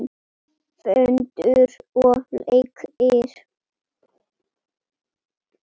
Föndur og leikir.